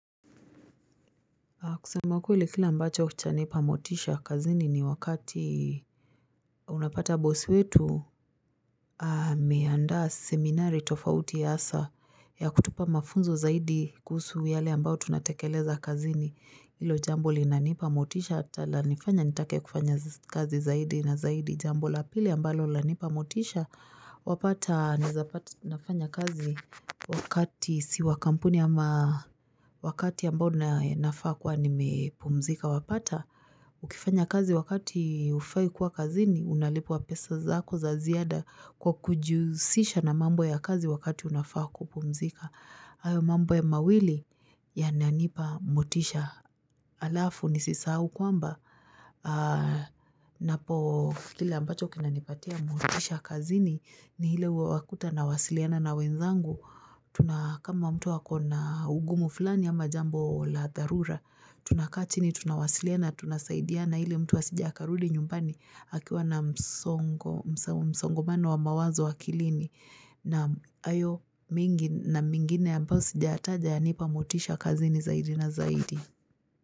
Kusema ukweli kile ambacho chanipa motisha kazini ni wakati unapata boss wetu ameandaa seminari tofauti hasa yakutupa mafunzo zaidi kuhusu yale ambayo tunatekeleza kazini Hilo jambo linanipa motisha hata lanifanya nitake kufanya kazi zaidi na zaidi jambo la pili ambalo lanipa motisha wapata nawezapata nafanya kazi wakati si wa kampuni ama wakati ambao nafaa kuwa nimepumzika wapata Ukifanya kazi wakati hufai kuwa kazini unalipwa pesa zako za ziada kwa kujihusisha na mambo ya kazi wakati unafaa kupumzika hayo mambo ya mawili yananipa motisha alafu nisisahau kwamba napo kile ambacho kinanipatia motisha kazini ni ile huwa wakuta nawasiliana na wenzangu tuna kama mtu akona ugumu fulani ama jambo la dharura tunakaa chini tunawasiliana tunasaidiana ili mtu asije akarudi nyumbani akiwa na msongo msongomano wa mawazo akilini na hayo mengi na mengine ambayo sijataja yanipa motisha kazini zaidi na zaidi.